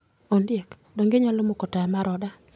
Ondiek, donge inyalo moko taya mar oda?